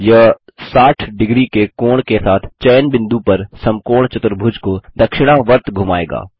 यह 60° के कोण के साथ चयन बिंदु पर समकोण चतुर्भुज को दक्षिणावर्त घुमायेगा